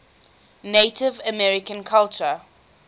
native american culture